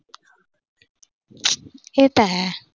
ਇਹ ਤਾਂ ਹੈ।